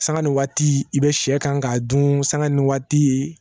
Sanga ni waati i bɛ sɛ kan k'a dun sanga ni waati ye